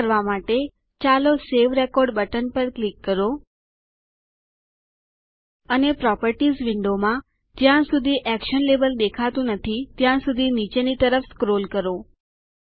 આ કરવા માટે ચાલો સવે રેકોર્ડ બટન પર ક્લિક કરો અને પ્રોપર્ટીઝ વિન્ડોમાં જ્યાં સુધી એક્શન લેબલ દેખાતું નથી ત્યાં સુધી નીચેની તરફ સ્ક્રોલ સરકાવવું કરો